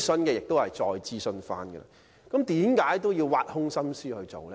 但是，為甚麼議員仍要挖空心思提出呢？